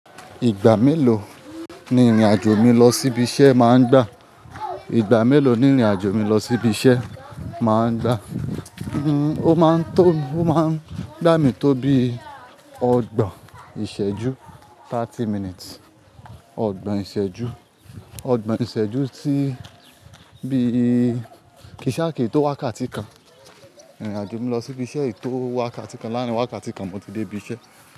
Ìgbà mélòó ni ìrìn àjò mi lọ sí ibi iṣẹ́ máa ń gbà? Ìgbà mélòó ni ìrìn àjò mi lọ sí ibi iṣẹ́ máa ń gbà? O máa ń tó, ó máa ń gbà mí tó bí ọgbọ̀n ìṣẹ́jú, thirty minutes. Ọgbọ̀n ìṣẹ́jú, ọgbọ̀n ìṣẹ́jú sí bí kì í ṣa kin tó wákàtí kan. Ìrìn àjò mi lọ sí ibi iṣẹ́ kí tó wákàtí kan. Láàárín wákàtí kan mo ti dé ibi iṣẹ́